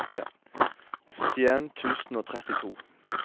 syttien tusen og trettito